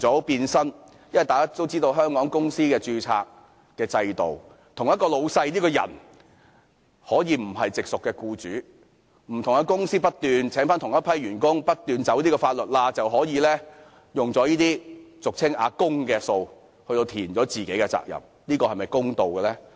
大家都知道，根據香港的公司註冊制度，一名老闆可以不是直屬僱主，於是不同的公司會不斷聘請同一批員工，不斷鑽法律上的空子，這樣便可以利用這些俗稱"阿公"的款項填補自己的供款。